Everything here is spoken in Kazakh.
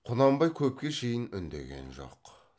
құнанбай көпке шейін үндеген жоқ